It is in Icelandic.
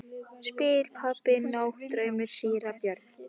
Mig dreymdi draum í nótt, sagði síra Björn.